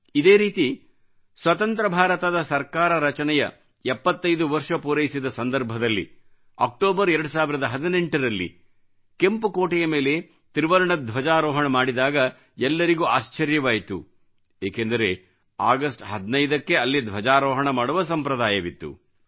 ಇದೇ ರೀತಿ ಸ್ವತಂತ್ರ ಭಾರತದ ಸರ್ಕಾರ ರಚನೆಯ 75 ವರ್ಷ ಪೂರೈಸಿದ ಸಂದರ್ಭದಲ್ಲಿ ಅಕ್ಟೋಬರ್ 2018 ರಲ್ಲಿ ಕೆಂಪು ಕೋಟೆ ಮೇಲೆ ತ್ರಿವರ್ಣ ಧ್ವಜಾರೋಹಣ ಮಾಡಿದಾಗ ಎಲ್ಲರಿಗೂ ಆಶ್ಚರ್ಯವಾಯಿತು ಏಕೆಂದರೆ ಅಗಸ್ಟ್ 15 ಕ್ಕೆ ಅಲ್ಲಿ ಧ್ವಜಾರೋಹಣ ಮಾಡುವ ಸಂಪ್ರದಾಯವಿತ್ತು